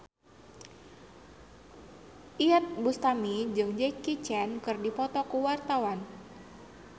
Iyeth Bustami jeung Jackie Chan keur dipoto ku wartawan